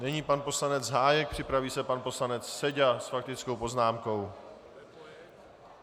Nyní pan poslanec Hájek, připraví se pan poslanec Seďa s faktickou poznámkou.